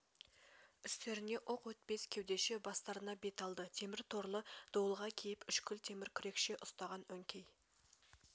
үстеріне оқ өтпес кеудеше бастарына бет алды темір торлы дуылға киіп үшкүл темір күрекше ұстаған өңкей